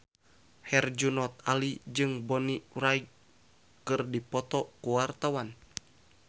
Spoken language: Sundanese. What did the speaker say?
Herjunot Ali jeung Bonnie Wright keur dipoto ku wartawan